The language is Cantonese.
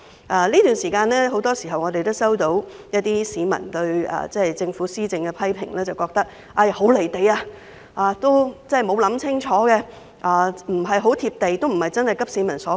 在這段時間，我們經常聽到市民對政府的批評，認為政府施政很"離地"，沒有考慮清楚，並非急市民所急。